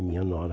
É minha nora.